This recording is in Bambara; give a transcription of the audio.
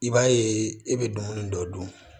I b'a ye e bɛ dumuni dɔ dun